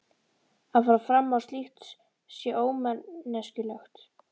Að fara fram á slíkt sé ómanneskjulegt.